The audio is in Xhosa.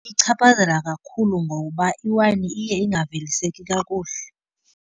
Ichaphazela kakhulu ngoba iwayini iye ingaveliseki kakuhle.